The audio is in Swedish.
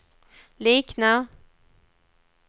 liknar